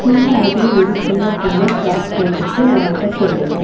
பின்னாடி ஒரு சின்ன பொண்ணு ஃபிராக் போட்டுட்டு வணக்கோ சொல்லுது.